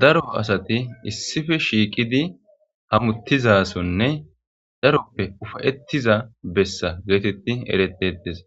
daro asati issife shiiqidi hamuttizasonne dharoppe ufayettiza bessa geetetti eretetes